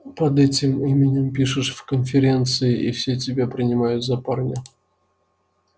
под этим именем пишешь в конференции и все тебя принимают за парня